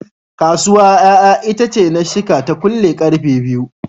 Kasuwa ƴaƴa itace na shika ta kule karfe 2pm.